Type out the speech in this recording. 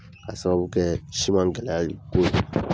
A sababu kɛ siman gɛlɛya ko ye